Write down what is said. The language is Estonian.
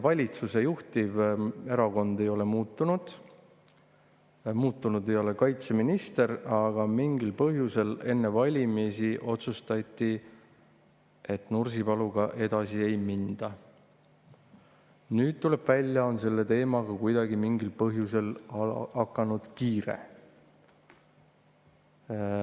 Valitsuse juhtiv erakond ei ole muutunud, muutunud ei ole kaitseminister, aga mingil põhjusel enne valimisi otsustati, et Nursipaluga edasi ei minda, kuid nüüd tuleb välja, et selle teemaga on mingil põhjusel hakanud kiire.